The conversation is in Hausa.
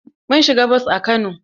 Mun siga bos a Kano.